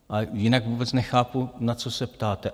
A jinak vůbec nechápu, na co se ptáte.